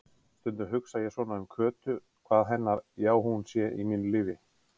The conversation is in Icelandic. Stundum hugsa ég svona um Kötu, hvað hennar já-hún sé í mínu lífi.